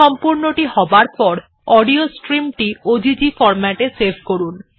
সম্পূর্ণটি হবার পর অডিও স্ট্রীমটি ওজিজি ফরম্যাটে সেভ করুন